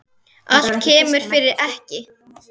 Allt kemur fyrir ekki.